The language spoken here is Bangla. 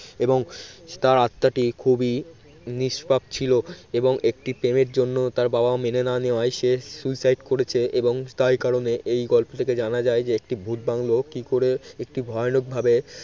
এবং তার আত্মাটি খুবই নিষ্পাপ ছিল এবং একটি প্রেমের জন্য তার বাবা মেনে না নেওয়ায় সে suicide করেছে এবং তাই কারণে এই গল্পটা থেকে জানা যায় যে একটি ভূত বাংলো কি করে একটি ভয়ানক ভাবে